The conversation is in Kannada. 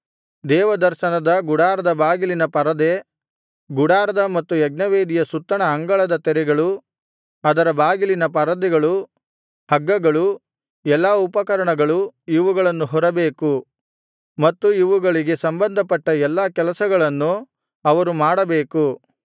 ದೇವದರ್ಶನದ ಗುಡಾರದ ಬಾಗಿಲಿನ ಪರದೆ ಗುಡಾರದ ಮತ್ತು ಯಜ್ಞವೇದಿಯ ಸುತ್ತಣ ಅಂಗಳದ ತೆರೆಗಳು ಅದರ ಬಾಗಿಲಿನ ಪರದೆಗಳು ಹಗ್ಗಗಳು ಎಲ್ಲಾ ಉಪಕರಣಗಳು ಇವುಗಳನ್ನು ಹೊರಬೇಕು ಮತ್ತು ಇವುಗಳಿಗೆ ಸಂಬಂಧಪಟ್ಟ ಎಲ್ಲಾ ಕೆಲಸವನ್ನು ಅವರು ಮಾಡಬೇಕು